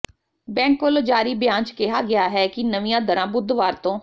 bank ਵਲੋਂ ਜਾਰੀ ਬਿਆਨ ਚ ਕਿਹਾ ਗਿਆ ਹੈ ਕਿ ਨਵੀਂਆਂ ਦਰਾਂ ਬੁੱਧਵਾਰ ਤੋਂ